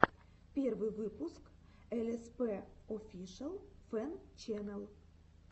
первый выпуск элэспэ офишэл фэн чэнэл